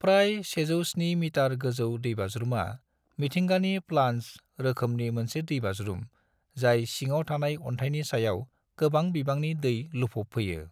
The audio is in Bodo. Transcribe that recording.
प्राय 107 मितार गोजौ दैबाज्रुमा मिथिंगानि 'प्लानज' रोखोमनि मोनसे दैबाज्रुम जाय सिङाव थानाय अन्थायनि सायाव गोबां बिबांनि दै लुफबफैयो।